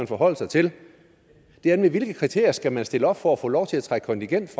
forholde sig til nemlig hvilke kriterier man skal stille op for at få lov til at trække kontingent